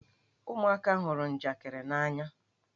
Ụmụaka hụrụ njakịrị n'anya.